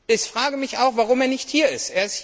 Ich frage mich auch, warum er nicht hier ist.